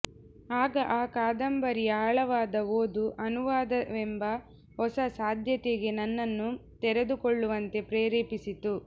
ಆಗ ಆ ಕಾದಂಬರಿಯ ಆಳವಾದ ಓದು ಅನುವಾದವೆಂಬ ಹೊಸ ಸಾಧ್ಯತೆಗೆ ನನ್ನನ್ನು ತೆರೆದುಕೊಳ್ಳುವಂತೆ ಪ್ರೇರೇಪಿಸಿತು